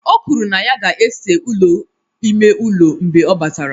O kwuru na ya ga-ese ụlọ ime ụlọ mgbe ọ batara